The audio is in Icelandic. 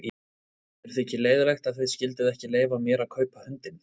Mér þykir leiðinlegt að þið skylduð ekki leyfa mér að kaupa hundinn.